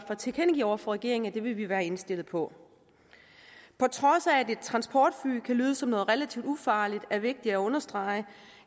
at tilkendegive over for regeringen at det vil vi være indstillet på på trods af at et transportfly kan lyde som noget relativt ufarligt er det vigtigt at understrege